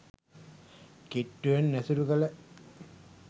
කිට්ටුවෙන් ඇසුරු කළ